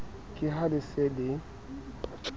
ke ha le se le